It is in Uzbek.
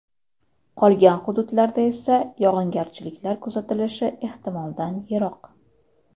Qolgan hududlarda esa yog‘ingarchiliklar kuzatilishi ehtimoldan yiroq.